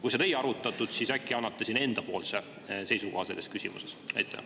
Kui seda ei arutatud, siis äkki annate enda seisukoha selles küsimuses?